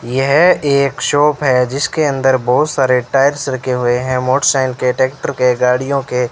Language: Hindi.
यह एक शॉप है जिसके अंदर बहोत सारे टायर्स रखे हुए हैं मोटर साइकिल के टैक्टर के गाड़ियों के --